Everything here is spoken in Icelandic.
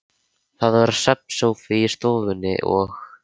Það var svefnsófi í stofunni og